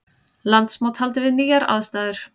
Landsmót haldið við nýjar aðstæður